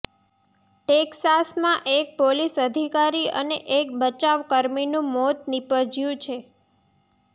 ટેક્સાસમાં એક પોલીસ અધિકારી અને એક બચાવકર્મીનું મોત નિપજ્યું છે